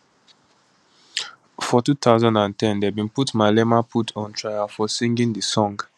for 2010 dem bin put malema put on trial for singing di song